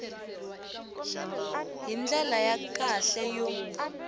hi ndlela ya kahle yo